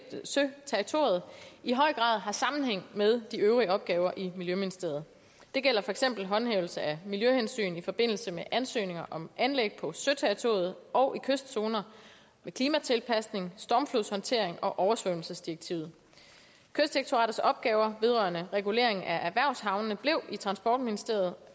søterritoriet i høj grad har sammenhæng med de øvrige opgaver i miljøministeriet det gælder for eksempel håndhævelse af miljøhensyn i forbindelse med ansøgninger om anlæg på søterritoriet og i kystzoner klimatilpasning stormflodshåndtering og oversvømmelsesdirektivet kystdirektoratets opgaver vedrørende regulering af erhvervshavnene blev i transportministeriet